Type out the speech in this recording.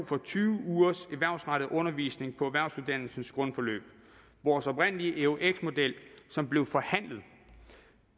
for tyve ugers erhvervsrettet undervisning på erhvervsuddannelsens grundforløb vores oprindelige eux model som blev forhandlet